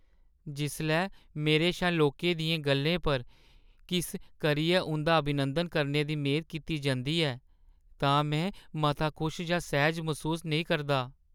जिसलै मेरे शा लोकें दियें गʼल्लें पर किस करियै उंʼदा अभिवादन करने दी मेद कीती जंदी ऐ तां में मता खुश जां सैह्‌ज मसूस नेईं करदा।